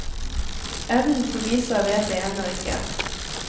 Enden på visa vet jeg ennå ikke.